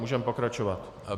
Můžeme pokračovat.